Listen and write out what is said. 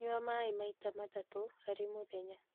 Nyua maĩ maita matatũ harĩ mũthenya